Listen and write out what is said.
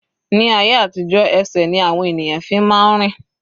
Ní ayé àtijó ẹsẹ̀ ni àwọn ènìyàn fi máa ń rìn.